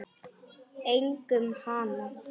Einkum hana.